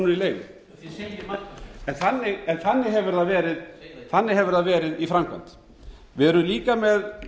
krónur í leigu þannig hefur það verið í framkvæmd við erum líka með